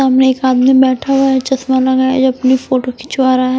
सामने एक आदमी बैठा हुआ है चश्मा लगाए जो अपनी फोटो खिंचवा रहा है।